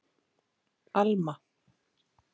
Alma